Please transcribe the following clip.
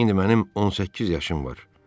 İndi mənim 18 yaşım var.